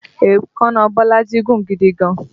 Èékánná Bolaji gùn gidi gan-an